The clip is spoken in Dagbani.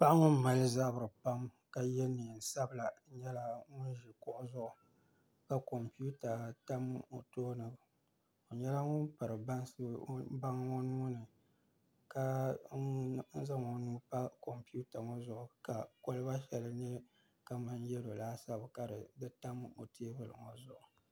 Paɣa ŋun mali zabiri pam ka yɛ neen sabila nyɛla ŋun ʒi kuɣu zuɣu ka kompiuta tam o tooni o nyɛla ŋun piri baŋ o nuuni ka zaŋ o nuu pa kompiuta ŋo zuɣu ka kolba shɛli nyɛ kamani yɛlo laasabu ka di tam o teebuli ŋo zuɣu